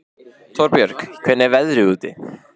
Torbjörg, hvernig er veðrið úti?